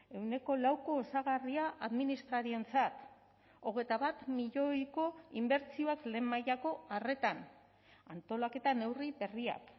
ehuneko lauko osagarria administrarientzat hogeita bat milioiko inbertsioak lehen mailako arretan antolaketa neurri berriak